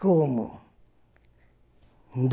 Como?